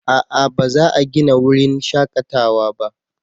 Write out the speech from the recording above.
A'a ba za a gina wurin shakatawa ba